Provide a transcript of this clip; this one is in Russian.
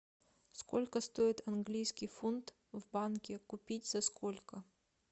сколько стоит английский фунт в банке купить за сколько